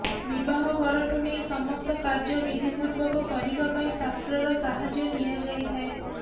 ବିବାହ ପରଠୁ ନେଇ ସମସ୍ତ କାର୍ଯ୍ୟ ବିଧିପୂର୍ବକ କରିବା ପାଇଁ ଶାସ୍ତ୍ରର ସାହାଯ୍ୟ ନିଆଯାଇଥାଏ